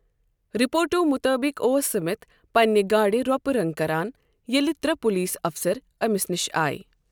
رِپورٹَو مُطٲبِق اوس سِمتھ پنِنہِ گاڑِ رۄپہٕ رنٛگ کران ییٚلہِ ترٛےٚ پولیس اَفسَر أمِس نِش آیہِ۔